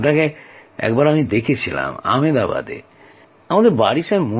আপনাকে একবার দেখেছিলাম আমেদাবাদে এখন আপনার সঙ্গে কথাও হয়ে গেল